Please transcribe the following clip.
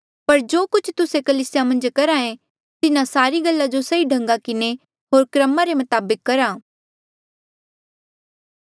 पर जो कुछ तुस्से कलीसिया मन्झ करहे तिन्हा सारी गल्ला जो सही ढंगा किन्हें होर क्रमा रे मताबक करहा